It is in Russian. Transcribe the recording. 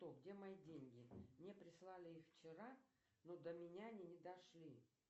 где мои деньги мне прислали их вчера но до меня они не дошли